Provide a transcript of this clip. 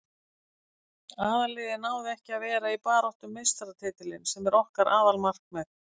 Aðalliðið náði ekki að vera í baráttu um meistaratitilinn sem er okkar aðalmarkmið.